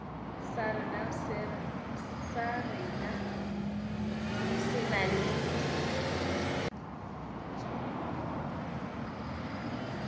sa rena se na le